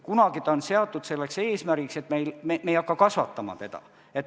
Kunagi on seatud eesmärgiks, et me ei hakka seda kasvatama.